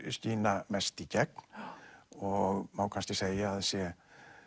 skína mest í gegn og má kannski segja að sé